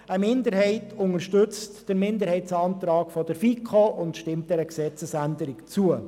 Eine Minderheit unterstützt den FiKo-Minderheitsantrag und stimmt der Gesetzesänderung zu.